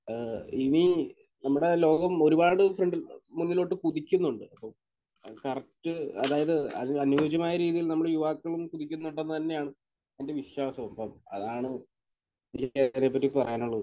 ഏഹ് ഇനി നമ്മുടെ ലോകം ഒരുപാട് ഫ്രണ്ടി...മുന്നിലോട്ട് കുതിക്കുന്നുണ്ട്. അപ്പോൾ കറക്റ്റ് അതായത് അതിന് അന്യോജ്യമായ രീതിയിൽ നമ്മൾ യുവാക്കളും കുതിക്കുന്നുണ്ടെന്ന് തന്നെയാണ് എന്റെ വിശ്വാസവും. അപ്പോൾ അതാണ് എനിക്ക് ടെക്‌നോളജിയെ പറ്റി പറയാനുള്ളത്.